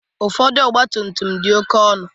Ụfọdụ ọgba tum tum dị oké ọnụ.